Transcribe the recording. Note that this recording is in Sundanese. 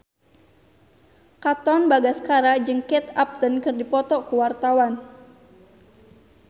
Katon Bagaskara jeung Kate Upton keur dipoto ku wartawan